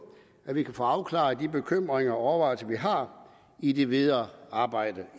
at vi kan få afklaret de bekymringer og overvejelser vi har i det videre arbejde